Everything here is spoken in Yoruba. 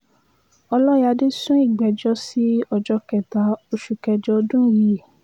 ọlọ́yáde sún ìgbẹ́jọ́ sí ọjọ́ kẹta oṣù kẹjọ ọdún yìí